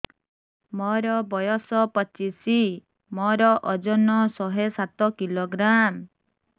ମୋର ବୟସ ପଚିଶି ମୋର ଓଜନ ଶହେ ସାତ କିଲୋଗ୍ରାମ